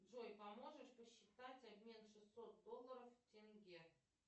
джой поможешь посчитать обмен шестьсот долларов в тенге